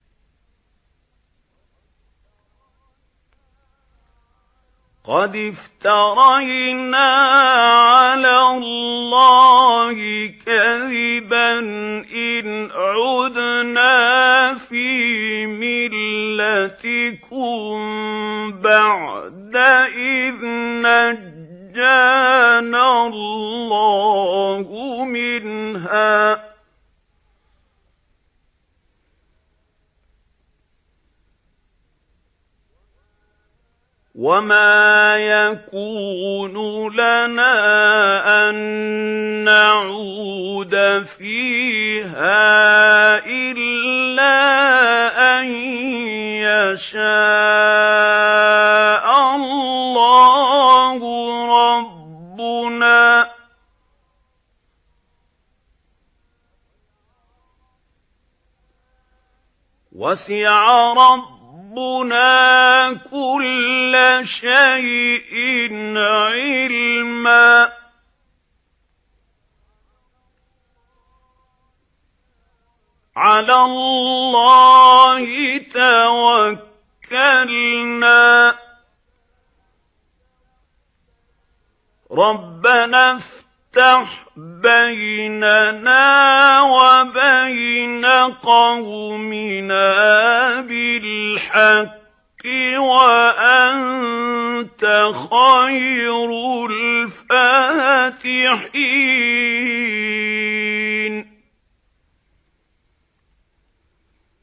قَدِ افْتَرَيْنَا عَلَى اللَّهِ كَذِبًا إِنْ عُدْنَا فِي مِلَّتِكُم بَعْدَ إِذْ نَجَّانَا اللَّهُ مِنْهَا ۚ وَمَا يَكُونُ لَنَا أَن نَّعُودَ فِيهَا إِلَّا أَن يَشَاءَ اللَّهُ رَبُّنَا ۚ وَسِعَ رَبُّنَا كُلَّ شَيْءٍ عِلْمًا ۚ عَلَى اللَّهِ تَوَكَّلْنَا ۚ رَبَّنَا افْتَحْ بَيْنَنَا وَبَيْنَ قَوْمِنَا بِالْحَقِّ وَأَنتَ خَيْرُ الْفَاتِحِينَ